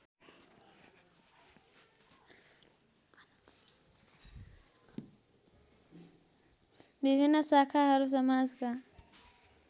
विभिन्न शाखाहरू समाजका